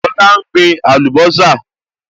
Lọlá n gbin àlùbọ́sà